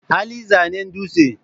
Hali zanen dutse.